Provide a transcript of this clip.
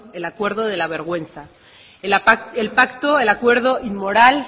el acuerdo de la vergüenza el pacto el acuerdo inmoral